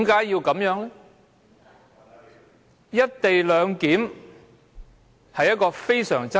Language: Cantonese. "一地兩檢"方案極具爭議。